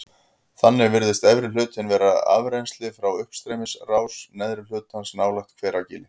Þannig virðist efri hlutinn vera afrennsli frá uppstreymisrás neðri hlutans nálægt Hveragili.